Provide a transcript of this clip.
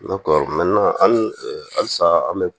halisa an bɛ